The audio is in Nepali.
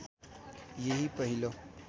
यही पहिलो